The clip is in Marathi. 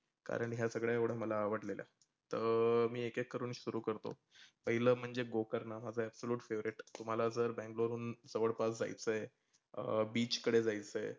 कारण हे सगळ एवढ मला आवडलेल. तर मी एक एक करूण सुरू करतो. पहीलंं म्हाणजे गोकरणा absolute favoriet तुम्हाला जर बैंगलोर वरूण जवळपास जायचं आहे अं beach कडे जायचं आहे.